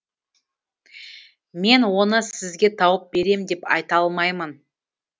мен оны сізге тауып берем деп айта алмаймын